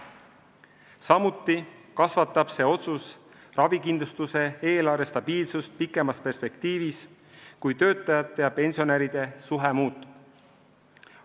Samuti suurendab see otsus ravikindlustuse eelarve stabiilsust pikemas perspektiivis, kui töötajate ja pensionäride suhe muutub.